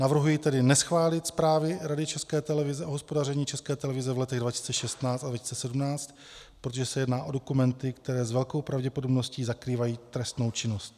Navrhuji tedy neschválit zprávy Rady České televize o hospodaření České televize v letech 2016 a 2017, protože se jedná o dokumenty, které s velkou pravděpodobností zakrývají trestnou činnost.